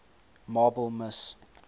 marple miss